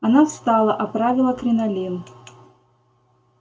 она встала оправила кринолин